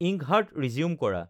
ইঙ্কহাৰ্ট resume কৰা